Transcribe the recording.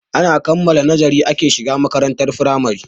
Ana kammala noziri ake shiga makarantar firamare.